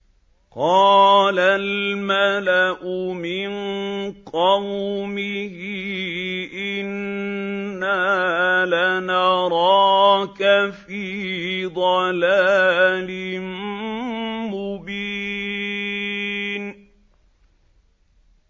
قَالَ الْمَلَأُ مِن قَوْمِهِ إِنَّا لَنَرَاكَ فِي ضَلَالٍ مُّبِينٍ